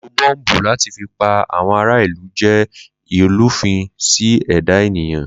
Lílo bọ́m̀bù láti fí pa àwọn ará ìlú jẹ ìlúfin sí ẹ̀dá èníyan